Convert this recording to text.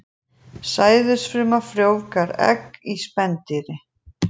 Sæðisfruma frjóvgar egg í spendýri.